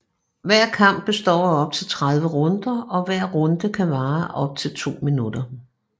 Hver kamp består af op til 30 runder og hver runde kan vare op til 2 minutter